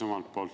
Suur tänu!